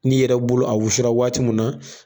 N'i yɛrɛ bolo a wusula waati mun na